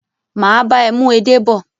mà á bá ẹ mú “edé” bọ̀.